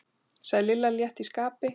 sagði Lilla létt í skapi.